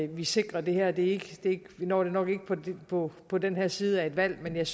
vi sikrer det her vi når det nok ikke på på den her side af et valg men jeg